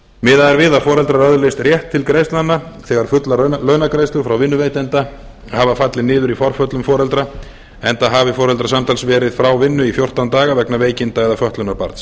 miðað er við að foreldrar öðlist rétt til greiðslnanna þegar fullar launagreiðslur frá vinnuveitanda hafa fallið niður í forföllum foreldra enda hafi foreldrar samtals verið frá vinnu í fjórtán daga vegna veikinda eða fötlunar barns